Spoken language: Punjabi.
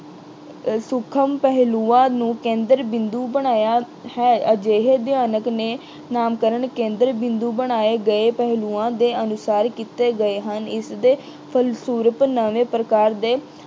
ਸੂਖਮ ਪਹਿਲੂਆਂ ਨੂੰ ਕੇਂਦਰ ਬਿੰਦੂ ਬਣਾਇਆ ਹੈ। ਅਜਿਹੇ ਅਧਿਐਨ ਨੇ ਨਾਮਕਰਨ ਕੇਂਦਰ ਬਿੰਦੂ ਬਣਾਏ ਗਏ ਪਹਿਲੂਆਂ ਦੇ ਅਨੁਸਾਰ ਕੀਤੇ ਗਏ ਹਨ। ਇਸਦੇ ਫਲਸਰੁੂਪ ਨਵੇਂ ਪ੍ਰਕਾਰ ਦੇ